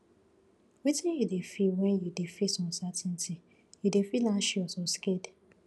wetin you dey feel when you dey face uncertainty you dey feel anxious or scared